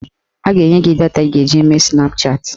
A ga-enye gị data ị ga-eji mee Snapchatị